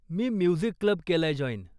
मी music club केलाय join.